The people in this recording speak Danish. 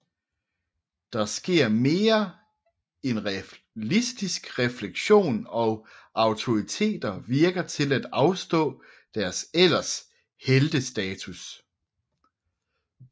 Der sker mere en realistisk reflektion og autoriteter virker til at afstå deres ellers heltestatus